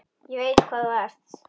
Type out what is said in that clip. Ég veit hvað þú ert.